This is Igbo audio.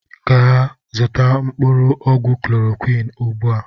Gee zụta mkpụrụ ọgwụ chlọrọquin ụgbụa!!!